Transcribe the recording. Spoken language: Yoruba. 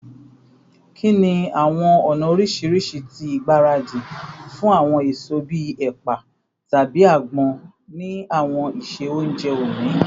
Kini awọn ọna oriṣiriṣi ti igbaradi fun awọn eso bii ẹpa tabi agbon ni awọn iṣe ounjẹ oni?